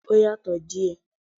Ó yàtọ̀ díẹ̀